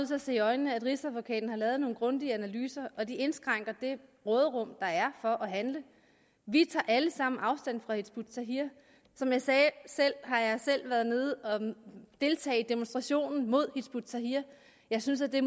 til at se i øjnene at rigsadvokaten har lavet nogle grundige analyser og de indskrænker det råderum der er for at handle vi tager alle sammen afstand fra hizb ut tahrir som jeg sagde sagde har jeg selv været nede og deltage i demonstrationen mod hizb ut tahrir jeg synes at det